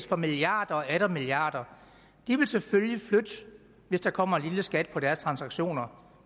for milliarder og atter milliarder vil selvfølgelig flytte hvis der kommer en lille skat på deres transaktioner